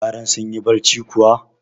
Yaran sun yi barci kuwa?